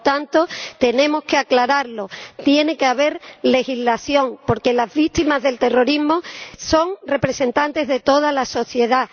Por lo tanto, tenemos que aclararlo tiene que haber legislación porque las víctimas del terrorismo son representantes de toda la sociedad.